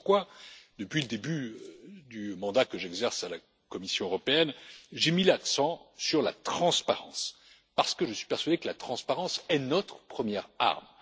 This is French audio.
C'est pourquoi, depuis le début du mandat que j'exerce à la Commission européenne, j'ai mis l'accent sur la transparence, parce que je suis persuadé que la transparence est notre première arme.